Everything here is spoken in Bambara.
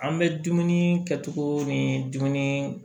An bɛ dumuni kɛtogo ni dumuni